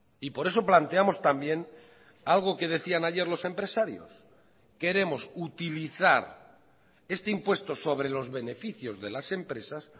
y por eso planteamos también algo que decían ayer los empresarios queremos utilizar este impuesto sobre los beneficios de las empresas